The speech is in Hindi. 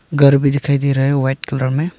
घर भी दिखाई दे रहा है वाइट कलर में।